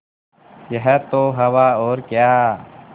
यह तो हवा और क्या